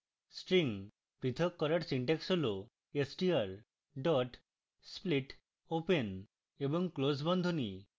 string প্রথক করার syntax হল str dot split open এবং close বন্ধনী